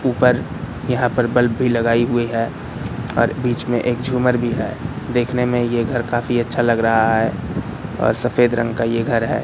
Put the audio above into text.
ऊपर यहाँ पर बल्ब भी लगाई हुई है और बीच में एक झूमर भी है देखने में ये घर काफी अच्छा लग रहा है और सफेद रंग का ये घर है।